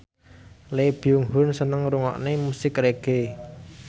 Lee Byung Hun seneng ngrungokne musik reggae